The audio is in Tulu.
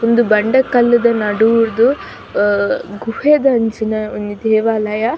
ಉಂದು ಬಂಡೆ ಕಲ್ಲುದ ನಡೂಡ್ದ್ ಗುಹೆದಂಚಿನ ಒಂಜಿ ದೇವಾಲಯ.